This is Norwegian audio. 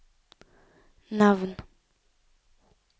navn